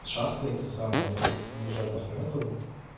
шахты эти самые принадлежат ахметову